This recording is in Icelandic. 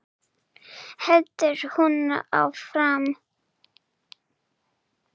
heldur hún áfram.